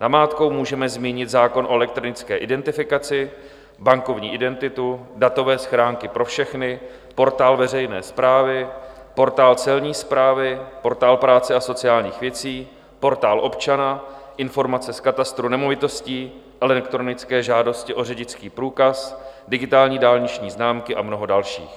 Namátkou můžeme zmínit zákon o elektronické identifikaci, bankovní identitu, datové schránky pro všechny, portál veřejné správy, portál celní správy, portál práce a sociálních věcí, portál občana, informace z katastru nemovitostí, elektronické žádosti o řidičský průkaz, digitální dálniční známky a mnoho dalších.